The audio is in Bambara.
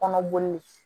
Kɔnɔboli